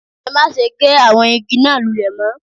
Ẹ má se gé àwọn igi náà lulè mó